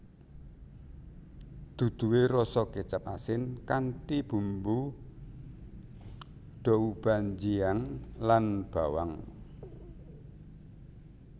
Duduhe rasa kecap asin kanthi bumbu doubanjiang lan bawang